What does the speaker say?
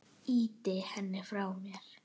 Ýti henni frá mér.